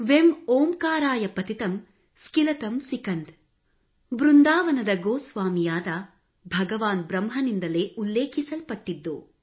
ವೆಂ ಓಂಕಾರಾಯ ಪತಿತಂ ಸ್ಕಿಲತಂ ಸಿಕಂದ್ ಬೃಂದಾವನದ ಗೋಸ್ವಾಮಿಯಾದ ಭಗವಾನ್ ಬ್ರಹ್ಮನಿಂದಲೇ ಉಲ್ಲೇಖಿಸಲ್ಪಟ್ಟಿದ್ದು